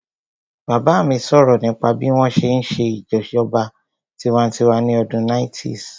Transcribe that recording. Bàbá mi sọ̀rọ̀ nípa bí wọ́n ṣe n ṣe ìṣèjọba tinwatinwa ní ọdún 90's